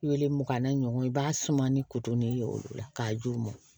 Wele mugan na ɲɔgɔn ye i b'a suma ni kuton de ye o la k'a ju mɔn